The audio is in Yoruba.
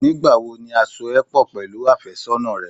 Nígbà wo ni a so ẹ pọ̀ pẹ̀lú àfẹ́sọ́nà rẹ?